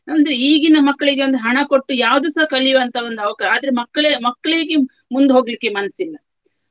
ನಮ್ದು ಈಗಿನ ಮಕ್ಳಿಗೆ ಒಂದು ಹಣ ಕೊಟ್ಟು ಯಾವ್ದುಸ ಕಲಿಯುವ ಅಂತ ಒಂದು ಅವಕಾ~ ಆದ್ರೆ ಮಕ್ಳೆ ಮಕ್ಳಿಗೆ ಮುಂದು ಹೋಗ್ಲಿಕ್ಕೆ ಮನ್ಸಿಲ್ಲ.